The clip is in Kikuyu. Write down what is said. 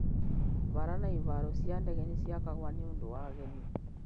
Bara na ihaaro cia ndege nĩ ciakagwo nĩ ũndũ wa ageni.